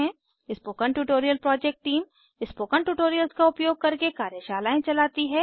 spoken tutorial project team spoken tutorials का उपयोग करके कार्यशालाएं चलाती है